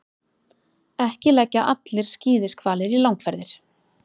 Ekki leggja allir skíðishvalir í langferðir.